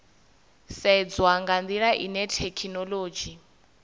sedzwa nga ndila ine thekhinolodzhi